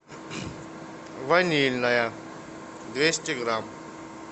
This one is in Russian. ванильное двести грамм